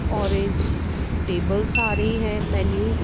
orange tables आ रही हैं मेन्यू --